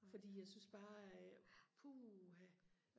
fordi jeg synes bare puha